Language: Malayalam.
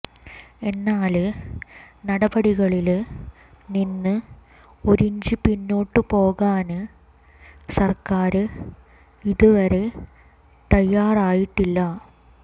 എന്നാല് നടപടികളില് നിന്ന് ഒരിഞ്ച് പിന്നോട്ട് പോകാന് സര്ക്കാര് ഇതുവരെ തയ്യാറായിട്ടില്ല